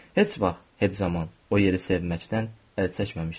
Heç vaxt, heç zaman, o yeri sevməkdən əl çəkməmişdim.